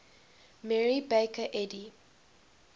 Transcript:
mary baker eddy